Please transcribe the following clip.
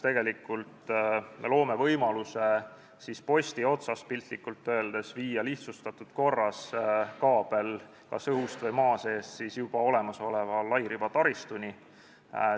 Me loome võimaluse viia lihtsustatud korras kaabel piltlikult öeldes kas posti otsast, õhust või maa seest juba olemasoleva lairibataristuni.